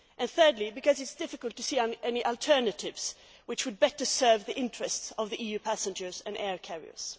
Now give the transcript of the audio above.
Thirdly, because it is difficult to see any alternatives which would better serve the interests of EU passengers and air carriers.